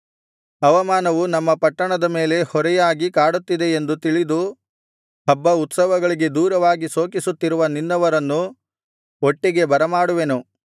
ಅವಮಾನವು ನಮ್ಮ ಪಟ್ಟಣದ ಮೇಲೆ ಹೊರೆಯಾಗಿ ಕಾಡುತ್ತಿದೆ ಎಂದು ತಿಳಿದು ಹಬ್ಬ ಉತ್ಸವಗಳಿಗೆ ದೂರವಾಗಿ ಶೋಕಿಸುತ್ತಿರುವ ನಿನ್ನವರನ್ನು ಒಟ್ಟಿಗೆ ಬರಮಾಡುವೆನು